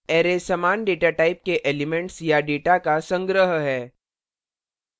array समान datatype के elements या data का संग्रह है